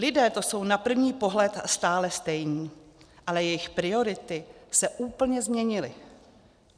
Lidé to jsou na první pohled stále stejní, ale jejich priority se úplně změnily.